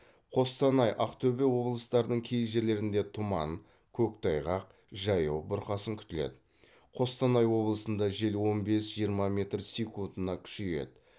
қостанай ақтөбе облыстарының кей жерлерінде тұман қөқтайғақ жаяу бұрқасын күтіледі қостанай облысында жел он бес жиырма метр секундына күшейеді